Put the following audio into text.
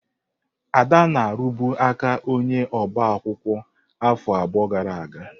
Ada na-arụbu ka onye ọbaakwụkwọ afọ abụọ gara aga.